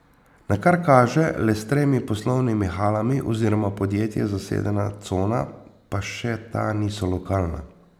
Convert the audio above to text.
Na kar kaže le s tremi poslovnimi halami oziroma podjetji zasedena cona, pa še ta niso lokalna.